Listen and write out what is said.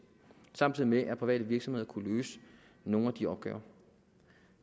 samtidig med at private virksomheder kunne løse nogle af de opgaver